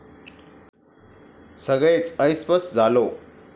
सगळेच ऐसपैस झालो.